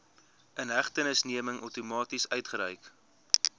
inhegtenisneming outomaties uitgereik